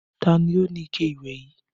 Ta ni ó ní ike ìwẹ̀ yìí?